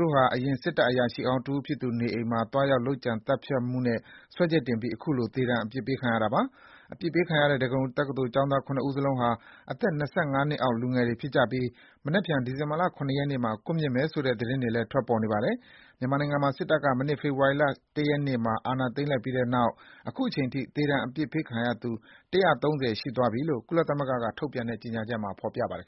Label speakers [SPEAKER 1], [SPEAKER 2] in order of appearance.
[SPEAKER 1] တို့ဟာ အရင် စစ်တပ်အရာရှိဟောင်းတဦးဖြစ်သူကို နေအိမ်မှာ သွားရောက်လုပ်ကြံသတ်ဖြတ်မှုနဲ့ စွဲချက်တင်ပြီး အခုလို သေဒဏ်အပြစ်ပေးခံရတာပါ။ အပြစ်ပေးခံရတဲ့ ဒဂုံတက္ကသိုလ် ကျောင်းသား ၇ ဦးစလုံးဟာ အသက် ၂၅ နှစ်အောက် လူငယ်တွေဖြစ်ပြီး မနက်ဖြန် ဒီဇင်ဘာလ ၇ ရက်နေ့မှာ ကွပ်မျက်မယ်ဆိုတဲ့ သတင်းတွေလည်း ထွက်ပေါ်နေပါတယ်။ မြန်မာနိုင်ငံမှာ စစ်တပ်က မနှစ် ဖေဖော်ဝါရီလလ ၁ ရက်နေ့မှာ အာဏာသိမ်းလိုက်ပြီးတဲ့နောက်ပိုင်း အခုချိန်ထိ သေဒဏ်အပြစ်ပေးခံရသူ ၁၃၀ ရှိသွားပြီလို့ ကုလသမဂ္ဂက ထုတ်ပြန်တဲ့ ကြေညာချက်မှာ ဖော်ပြပါတယ်